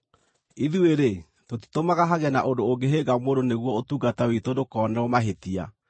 Ithuĩ-rĩ, tũtitũmaga hagĩe na ũndũ ũngĩhĩnga mũndũ nĩguo ũtungata witũ ndũkonerwo mahĩtia.